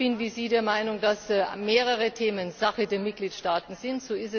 Ich bin wie Sie der Meinung, dass mehrere Themen Sache der Mitgliedstaaten sind.